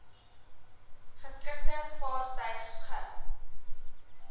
geskikte vaartuig e